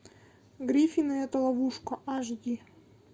гриффины это ловушка ашди